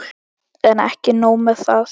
En ekki nóg með það.